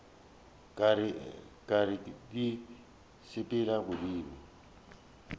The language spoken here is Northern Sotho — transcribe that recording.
ka re di sepela godimo